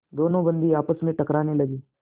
दोनों बंदी आपस में टकराने लगे